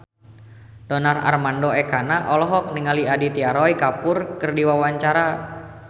Donar Armando Ekana olohok ningali Aditya Roy Kapoor keur diwawancara